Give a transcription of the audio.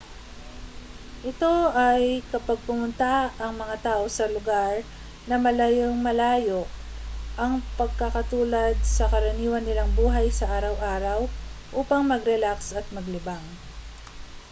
ito ay kapag pumunta ang mga tao sa lugar na malayung-malayo ang pagkakatulad sa karaniwan nilang buhay sa araw-araw upang magrelaks at maglibang